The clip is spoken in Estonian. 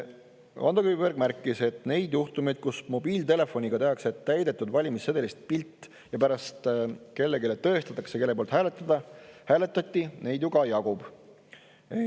Ando Kiviberg märkis, et neid juhtumeid, kus mobiiltelefoniga tehakse täidetud valimissedelist pilt ja pärast sellega kellelegi tõestatakse, kelle poolt hääletati, neid ju jagub.